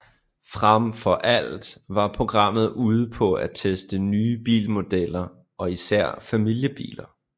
Fremfor alt var programmet ude på at teste nye bilmodeller og især familiebiler